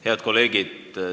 Head kolleegid!